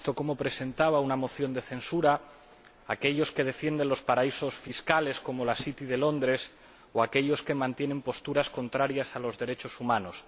Hemos visto cómo presentaban una moción de censura aquellos que defienden los paraísos fiscales, como la City de Londres, o aquellos que mantienen posturas contrarias a los derechos humanos.